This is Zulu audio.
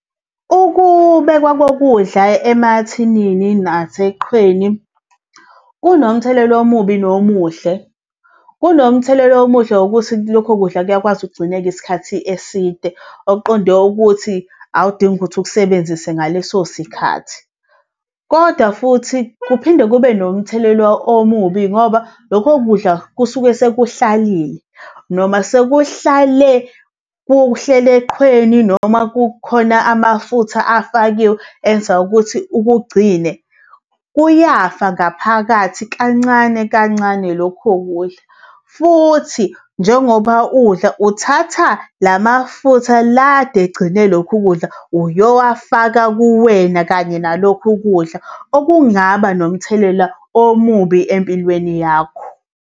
Ukube kwakokudla emathinini naseqhweni kunomthelelo omubi nomuhle. Kunomthelela omuhle ngokuthi lokho kudla kuyakwazi ukugcineka isikhathi eside. Okuqonde ukuthi awudingi ukuthi ukusebenzise ngaleso sikhathi. Kodwa futhi kuphinde kube nomthelelo omubi ngoba lokho kudla kusuke sikuhlalile noma sekuhlale kuhleli eqhweni noma kukhona amafutha afakiwe enza ukuthi ukugcine. Kuyafa ngaphakathi kancane kancane lokho kudla, futhi njengoba udla uthatha lamafutha la kade egcine lokhu kudla uyowufaka kuwena kanye nalokhu kudla okungaba nomthelela omubi empilweni yakho.